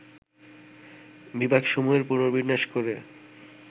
বিভাগসমূহের পুনর্বিন্যাস করে